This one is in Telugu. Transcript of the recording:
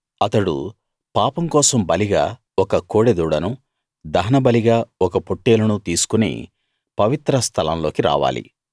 అతడు పాపం కోసం బలిగా ఒక కోడె దూడనూ దహనబలిగా ఒక పొట్టేలునూ తీసుకుని పవిత్ర స్థలం లోకి రావాలి